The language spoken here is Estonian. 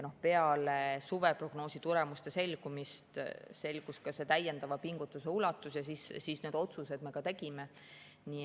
Peale suveprognoosi selgumist selgus ka täiendava pingutuse ulatus ja siis me need otsused tegime.